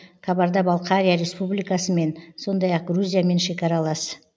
қабарда балқария республикасымен сондай ақ грузиямен шекаралас